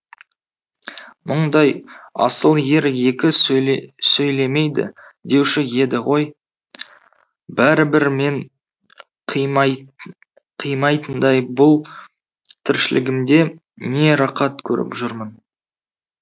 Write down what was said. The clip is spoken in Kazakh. мұндай асыл ер екі сөйле сөйлемейді деуші еді ғой бәрібір мен қимай қимайтындай бұл тіршілігімде не рақат көріп жүрмін